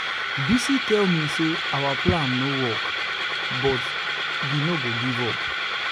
bisi tell me say our plan no work but we no go give up.